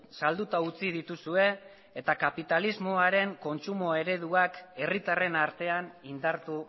salduta utzi dituzue eta kapitalismoaren kontsumo ereduak herritarren artean indartu